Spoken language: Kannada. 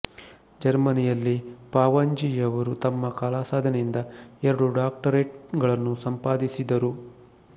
ಜರ್ಮನಿಯಲ್ಲಿ ಪಾವಂಜೆಯವರು ತಮ್ಮ ಕಲಾಸಾಧನೆಯಿಂದ ಎರಡು ಡಾಕ್ಟರೇಟ್ ಗಳನ್ನು ಸಂಪಾದಿಸಿದರು